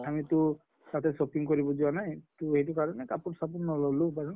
আমি টো shopping কৰিব যোৱা নাই, তʼ এইটো কাৰণে কাপোৰ চাপোৰ নললো